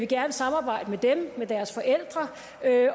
gerne samarbejde med dem med deres forældre